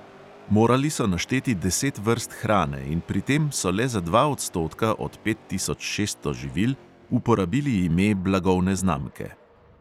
Morali so našteti deset vrst hrane in pri tem so le za dva odstotka od pet tisoč šeststo živil uporabili ime blagovne znamke.